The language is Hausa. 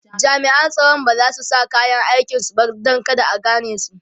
jami'an tsaron bazasu sa kayan aikin su ba Dan kada a ganesu